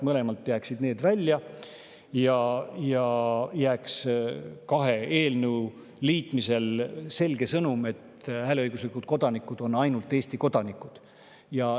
Mõlemast jääks midagi välja ja kahe eelnõu liitmisel jääks selge sõnum: hääleõiguslikud kodanikud on ainult Eesti kodanikud.